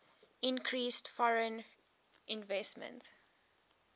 increased foreign investment